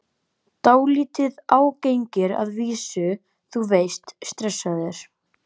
Dálítið ágengir að vísu, þú veist, stressaðir.